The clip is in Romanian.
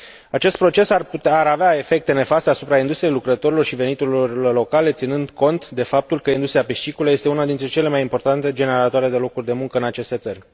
Acest proces ar avea efecte nefaste asupra industriei, lucrătorilor și veniturilor locale, ținând cont de faptul că industria piscicolă este una dintre cele mai importante generatoare de locuri de muncă în aceste țări.